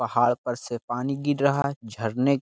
पहाड़ पर से पानी गिर रहा है झरने --